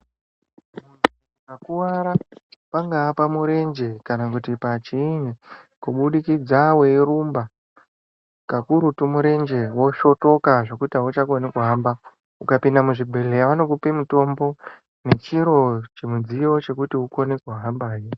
Ukakuwara, pangaa pamurenje kana kuti pachiini kubudikidza weirumba kakurutu murenje wosvotoka zvekuti auchakoni kuhamba , ukapinda muzvibhedhleya vanokupe mutombo nechiro chimudziyo chekuti ukone kuhamba ndicho.